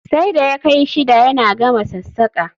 Sai da ya kai shida yana gama sassaƙa